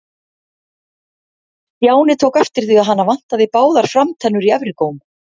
Stjáni tók eftir því að hana vantaði báðar framtennur í efri góm.